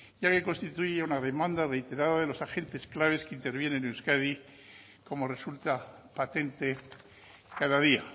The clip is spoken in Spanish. ya que constituye una demanda reiterada de los agentes claves que intervienen en euskadi como resulta patente cada día